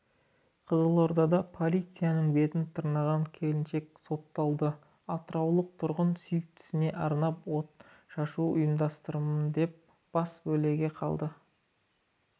қызылордада полицияның бетін тырнаған келіншек сотталды атыраулық тұрғын сүйіктісіне арнап отшашу ұйымдастырамын деп басы бәлеге қалды